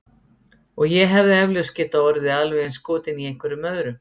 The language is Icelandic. Og ég hefði eflaust getað orðið alveg eins skotin í einhverjum öðrum.